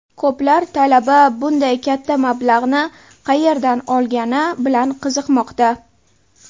Ko‘plar talaba bunday katta mablag‘ni qayerdan olgani bilan qiziqmoqda.